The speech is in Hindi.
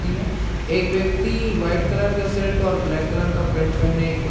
एक व्यक्ति व्हाइट कलर का शर्ट और ब्लैक कलर का पैंट पहने को --